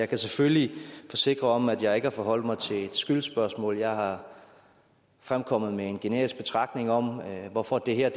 kan selvfølgelig forsikre om at jeg ikke har forholdt mig til et skyldsspørgsmål jeg er fremkommet med en generisk betragtning om hvorfor det her